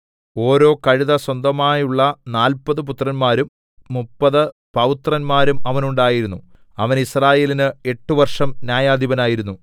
ഓരോ കഴുത സ്വന്തമായുള്ള നാല്പത് പുത്രന്മാരും മുപ്പത് പൗത്രന്മാരും അവനുണ്ടായിരുന്നു അവൻ യിസ്രായേലിന് എട്ട് വർഷം ന്യായാധിപനായിരുന്നു